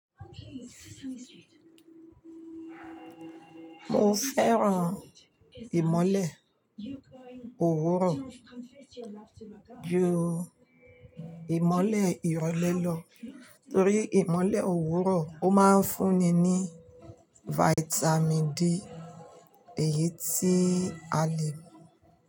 Mo fẹ́ran ìmọ́lẹ̀ òwúrọ̀ ju ìmọ́lẹ̀ ìrọ̀lẹ́ lọ, torí ìmọ́lẹ̀ òwúrọ̀ ó máa ń fún ni ní Vitamin D èyí tí a lè.